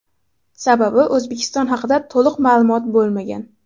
Sababi, O‘zbekiston haqida to‘liq ma’lumot bo‘lmagan.